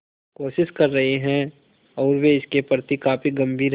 कोशिश कर रहे हैं और वे इसके प्रति काफी गंभीर हैं